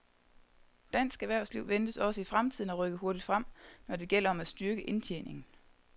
Dansk erhvervsliv ventes også i fremtiden at rykke hurtigt frem, når det gælder om at styrke indtjeningen.